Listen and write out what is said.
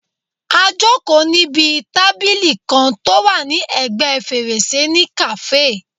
A jòkó níbi tábìlì kan tó wà ní ẹ̀gbẹ́ fèrèsé ní kàáfè